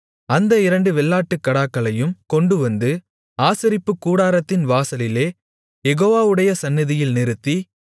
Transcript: அந்த இரண்டு வெள்ளாட்டுக்கடாக்களையும் கொண்டுவந்து ஆசரிப்புக்கூடாரத்தின் வாசலிலே யெகோவாவுடைய சந்நிதியில் நிறுத்தி